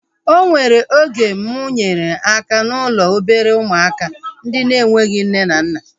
O nwere oge mụ nyere aka n'ụlọ obere ụmụaka ndị na-enweghị nne na nna